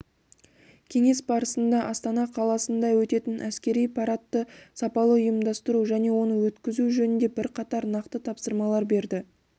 кеңес барысында астана қаласында өтетін әскери парадты сапалы ұйымдастыру және оны өткізу жөнінде бірқатар нақты тапсырмалар берді